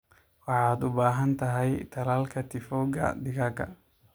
Waxaad u baahan tahay tallaalka tiifowga digaagga.